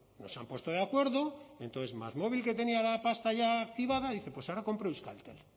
no se han puesto de acuerdo entonces másmóvil que tenía la pasta ya activada dice pues ahora compro euskaltel